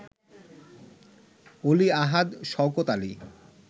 Oli Ahad, Shawkat Ali